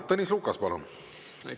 Tõnis Lukas, palun!